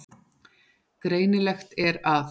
Greinilegt er að